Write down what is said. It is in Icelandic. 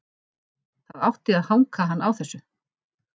Það átti að hanka hann á þessu.